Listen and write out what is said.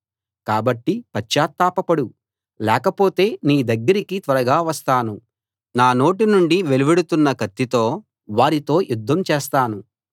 కాబట్టి పశ్చాత్తాపపడు లేకపోతే నీ దగ్గరికి త్వరగా వస్తాను నా నోటి నుండి వెలువడుతున్న కత్తితో వారితో యుద్ధం చేస్తాను